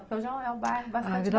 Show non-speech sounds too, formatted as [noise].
Porque hoje é um bairro bastante [unintelligible]